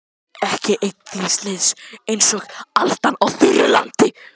Ekki einn þíns liðs einsog aldan á þurru landi.